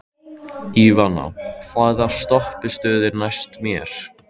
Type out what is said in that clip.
Ívana, hvaða stoppistöð er næst mér?